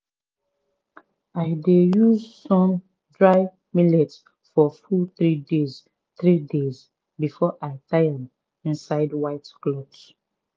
i dey use sun dry millet for full three days three days before i tie am inside white cloth.